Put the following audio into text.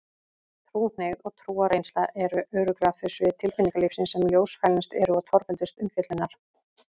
Trúhneigð og trúarreynsla eru örugglega þau svið tilfinningalífsins sem ljósfælnust eru og torveldust umfjöllunar.